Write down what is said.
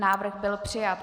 Návrh byl přijat.